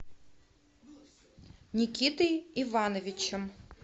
никитой ивановичем